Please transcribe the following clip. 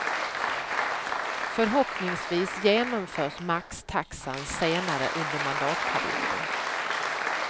Förhoppningsvis genomförs maxtaxan senare under mandatperioden.